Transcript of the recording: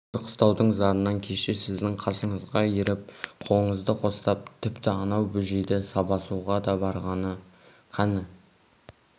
сол бір қыстаудың зарынан кеше сіздің қасыңызға еріп қолыңызды қостап тіпті анау бөжейді сабасуға да барғаны қані